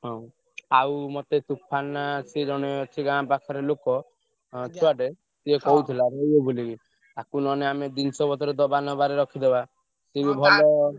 ହଁ ଆଉ ମତେ ତୋଫାନା ସେ ଜଣେ ଅଛି ଗାଁ ପାଖରେ ଲୋକ ଛୁଆଟେ ସିଏ କହୁଥିଲା ରହିବ ବୋଲି ତାକୁ ନହେଲେ ଆମେ ଜିନିଷ ପତ୍ର ଦବା ନବା ରେ ରଖିଦବା।